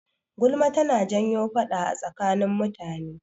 Gulma tana janyo faɗa a tsakanin mutane.